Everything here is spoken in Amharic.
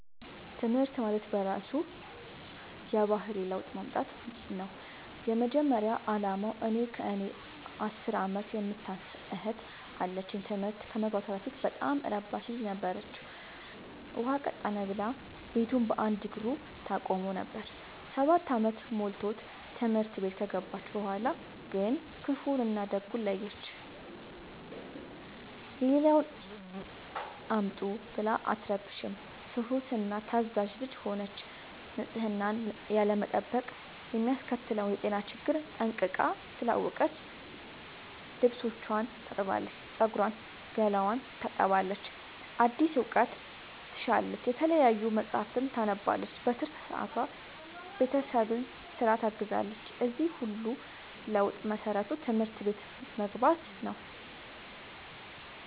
ትምህርት ማለት በእራሱ የባህሪ ለውጥ ማምጣት ነው የመጀመሪያ አላማው። እኔ ከእኔ አስር አመት የምታንስ እህት አለችኝ ትምህርት ከመግባቷ በፊት በጣም እረባሽ ልጅ ነበረች። ውሃ ቀጠነ ብላ ቤቱን በአንድ እግሩ ታቆመው ነበር። ሰባት አመት ሞልቶት ትምህርት ቤት ከገባች በኋላ ግን ክፋውን እና ደጉን ለየች። የሌለውን አምጡ ብላ አትረብሽም ትሁት እና ታዛዣ ልጅ ሆነች ንፅህናን ያለመጠበቅ የሚያስከትለውን የጤና ችግር ጠንቅቃ ስላወቀች ልብስቿን ታጥባለች ፀጉሯን ገላዋን ትታጠባለች አዲስ እውቀት ትሻለች የተለያዩ መፀሀፍትን ታነባለች በትርፍ ሰዓቷ ቤተሰብን ስራ ታግዛለች የዚህ ሁሉ ለውጥ መሰረቱ ትምህርት ቤት መግባቶ ነው።